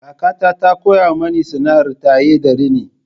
Kakata ta koya mani sana'ar taye da rini.